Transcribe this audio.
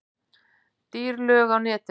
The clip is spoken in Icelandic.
Dýr lög á netinu